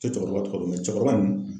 N te cɛkɔrɔba tɔgɔ dɔn, nga cɛkɔrɔba nin